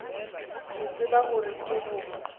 ke tsebe gore ke go